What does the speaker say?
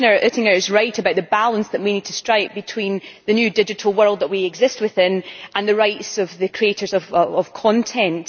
Commissioner Oettinger is right about the balance that we need to strike between the new digital world that we exist within and the rights of the creators of content.